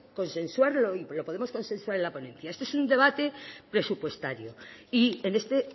consensuarlo y lo podemos consensuar en la ponencia este es un debate presupuestario y en este